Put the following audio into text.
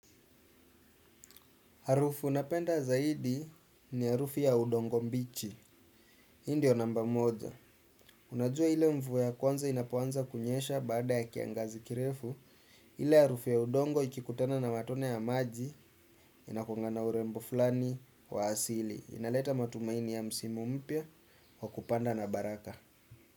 Harufu napenda zaidi ni harufu ya udongo mbichi. Hii ndio namba moja. Unajua ile mvua ya kwanza inapoanza kunyesha baada ya kiangazi kirefu. Ile harufu ya udongo ikikutena na matone ya maji inakungana urembo fulani wa asili. Inaleta matumaini ya msimu mpya wa kupanda na baraka.